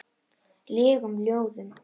legum ljóðum.